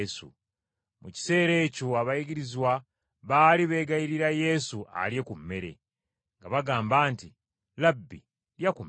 Mu kiseera ekyo abayigirizwa baali beegayirira Yesu alye ku mmere, nga bagamba nti, “Labbi lya ku mmere.”